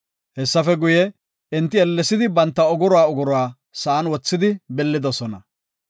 Hessafe guye, enti ellesidi banta ogoruwa ogoruwa sa7an wothidi billidosona.